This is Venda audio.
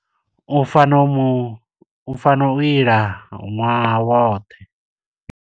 U fanela u mu, u fanela u ila ṅwaha woṱhe.